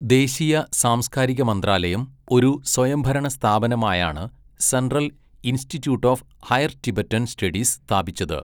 ദേശീയ സാംസ്കാരിക മന്ത്രാലയം ഒരു സ്വയംഭരണ സ്ഥാപനമായാണ് central institute of higher Tibetan studies സ്ഥാപിച്ചത്.